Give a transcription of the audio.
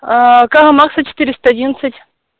карла маркса четыреста одиннадцать